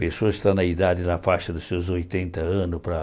pessoas que estão na idade, na faixa dos seus oitenta anos, para